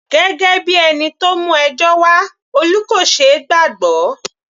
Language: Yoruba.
Gẹ́gẹ́ bíi ẹni tó mú ẹjọ́ wá, Olú kò ṣeé gbàgbọ́.